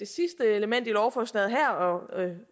sidste element i lovforslaget her og